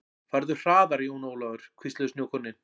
Farðu hraðar Jón Ólafur, hvísluðu snjókornin.